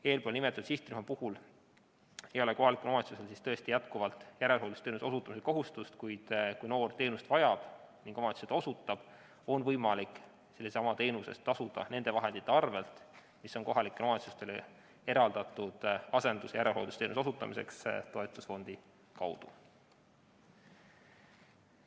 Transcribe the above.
Eespool nimetatud sihtrühma puhul ei ole kohalikul omavalitsusel tõesti jätkuvalt järelhooldusteenuse osutamise kohustust, kuid kui noor teenust vajab ning omavalitsus seda osutab, siis on võimalik sellesama teenuse eest tasuda nende vahendite arvel, mis on kohalike omavalitsustele eraldatud asendus- ja järelhooldusteenuse osutamiseks toetusfondi kaudu.